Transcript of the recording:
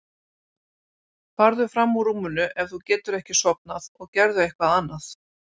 Farðu fram úr rúminu ef þú getur ekki sofnað og gerðu eitthvað annað.